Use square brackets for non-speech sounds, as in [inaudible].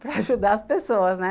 [laughs] para ajudar as pessoas, né?